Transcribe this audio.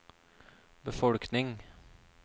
befolkning